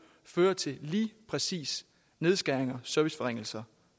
fører til lige præcis nedskæringer og serviceforringelser